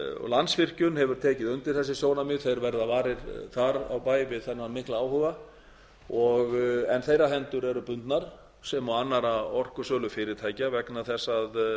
landsvirkjun hefur tekið undir þessi sjónarmið þeir verða varir þar á bæ við þennan mikla áhuga en fyrra hendur eru bundnar sem og annarra orkusölufyrirtækja vegna þess að